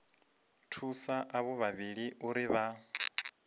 thusa avho vhavhili uri vha